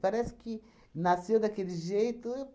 Parece que nasceu daquele jeito.